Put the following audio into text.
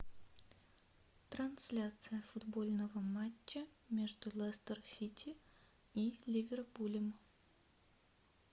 трансляция футбольного матча между лестер сити и ливерпулем